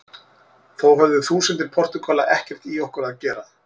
Þó höfðu þúsundir Portúgala ekkert í okkur að gera.